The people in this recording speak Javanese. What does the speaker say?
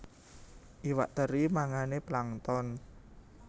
Iwak teri mangané plankton